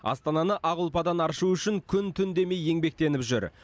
астананы ақ ұлпадан аршу үшін күн түн демей еңбектеніп жүр